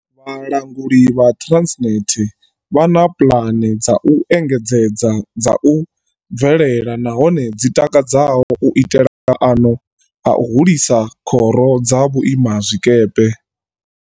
Vha languli ha Transnet vha na puḽane dza u engedzedza dza u bvelela nahone dzi takadzaho u itela maano a u hulisa khoro dza vhuimazwikepe.